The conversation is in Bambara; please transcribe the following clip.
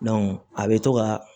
a bɛ to ka